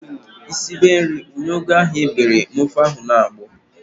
Ị sibe nri, wunye ugu ahụ ị bere ma ofe ahụ na-agbọ!